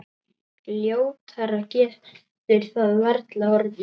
Ljótara getur það varla orðið.